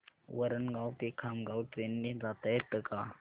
वरणगाव ते खामगाव ट्रेन ने जाता येतं का